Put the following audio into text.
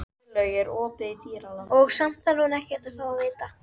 Og sumt þarf hún ekkert að fá að vita.